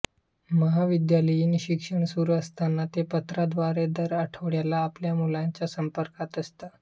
महाविद्यालयीन शिक्षण सुरू असताना ते पत्राद्वारे दर आठवड्याला आपल्या मुलांच्या संपर्कात असत